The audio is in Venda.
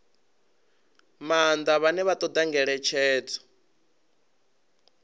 maanḓa vhane vha ṱoḓa ngeletshedzo